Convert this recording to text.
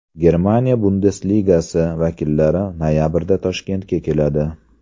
Germaniya Bundesligasi vakillari noyabrda Toshkentga keladi.